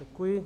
Děkuji.